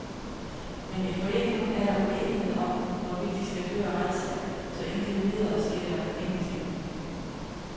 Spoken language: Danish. Men i foreningen er der uenighed om, hvorvidt de skal føre retssag, så indtil videre sker der ingenting.